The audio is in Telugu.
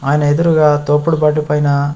ఆయన ఎదురుగా తోపుడు బండి పైన--